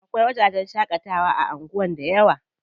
Akwai wajajen shaƙatawa a anguwan dayawa.